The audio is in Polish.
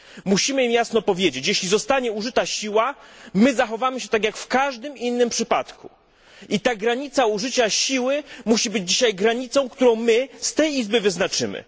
Musimy im jasno powiedzieć jeśli zostanie użyta siła, my zachowamy się tak jak w każdym innym przypadku i ta granica użycia siły musi być dzisiaj granicą, którą my z tej izby wyznaczymy.